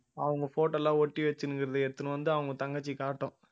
அவங்க photo எல்லாம் ஒட்டி வச்சின்னு இருக்கறதை எடுத்துனு வந்து அவங்க தங்கச்சி காட்டும்